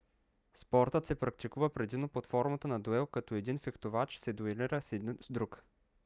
спортът се практикува предимно под формата на дуел като един фехтовач се дуелира с друг